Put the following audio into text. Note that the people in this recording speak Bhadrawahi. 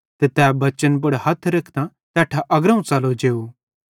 ते तै बच्चन पुड़ हथ रेखतां तैट्ठां अग्रोवं च़लो जेव